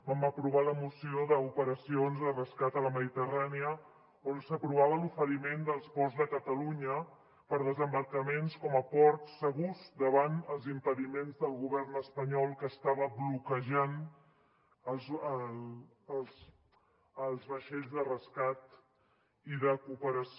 vam aprovar la moció d’operacions de rescat a la mediterrània on s’aprovava l’oferiment dels ports de catalunya per a desembarcaments com a ports segurs davant els impediments del govern espanyol que estava bloquejant els vaixells de rescat i de cooperació